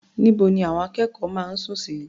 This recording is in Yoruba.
Níbo ni àwọn akẹ́kọ̀ọ́ máa ń sùn sí?